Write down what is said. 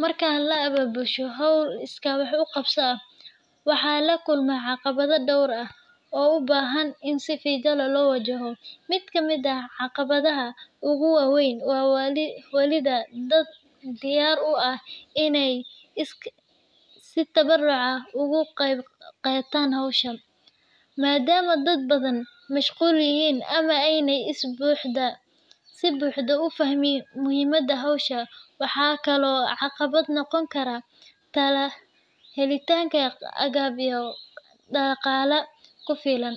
Marka la abaabusho hawl iskaa wax u qabso ah, waxaa la kulmaa caqabado dhowr ah oo u baahan in si feeji leh loo wajaho. Mid ka mid ah caqabadaha ugu waaweyn waa helidda dad diyaar u ah inay si tabaruc ah uga qaybqaataan hawsha, maadaama dad badani mashquul yihiin ama aanay si buuxda u fahmin muhiimadda hawsha. Waxaa kaloo caqabad noqon kara helitaanka agab iyo dhaqaale ku filan,